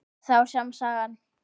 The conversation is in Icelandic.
Það var sama sagan.